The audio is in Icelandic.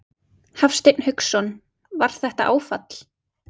Hafsteinn Hauksson: Var þetta áfall?